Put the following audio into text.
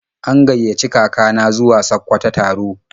An gaiyaci kaka na zuwa Sakkwato taro.